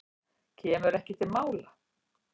Kemur ekki til mála.